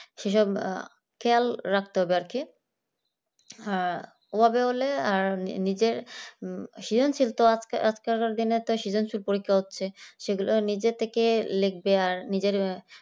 সেসব খেয়াল রাখতে হবে আর কি ওভাবে হলে আর নিজের সৃজনশীল তো আজকালকার দিনে তো সৃজনশীল পরীক্ষা হচ্ছে। সেগুলো নিজে থেকে লিখবে আর নিজের